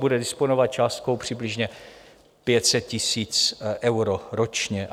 Bude disponovat částkou přibližně 500 tisíc eur ročně.